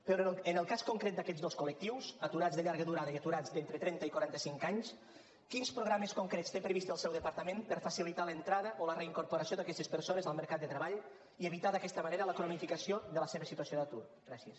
però en el cas concret d’aquests dos col·lectius aturats de llarga durada i aturats d’entre trenta i quaranta cinc anys quins programes concrets té previst el seu departament per a facilitar l’entrada o la reincorporació d’aquestes persones al mercat de treball i evitar d’aquesta manera la cronificació de la seva situació d’atur gràcies